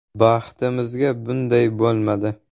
-Baxtimizga bunday bo‘lmadi.